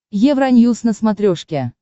евроньюс на смотрешке